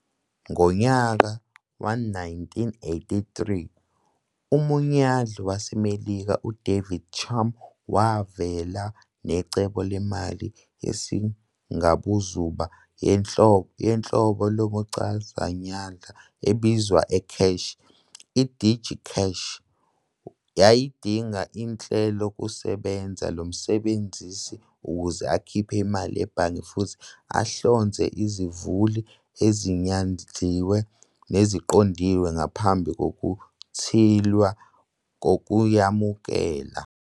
Ngonyaka we-1983, umnyandli waseMelika uDavid Chaum wavela necebo lwemali yesingabuzuba yohlobo lomchazanyandla ebizwa "ecash". I-"Digicash" yayidinga ihlelokusebenza lomsebenzisi ukuze akhiphe imali ebhange futhi ahlonze izivuli ezinyandliwe neziqondile ngaphambi kokuthinylwa kozoyamukela.